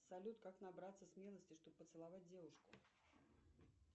салют как набраться смелости чтобы поцеловать девушку